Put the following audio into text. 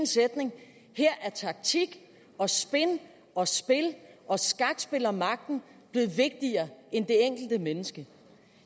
sætning her er taktik og og spin og skakspil om magten blevet vigtigere end det enkelte menneske